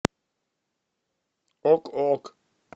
ок ок